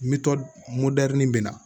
Metɔ modɛri bɛ na